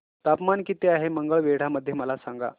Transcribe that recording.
तापमान किती आहे मंगळवेढा मध्ये मला सांगा